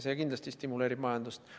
See kindlasti stimuleerib majandust.